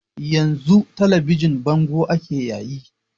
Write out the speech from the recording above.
Yan zun talabijin bango ake yayi